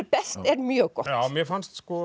best er mjög gott já mér fannst sko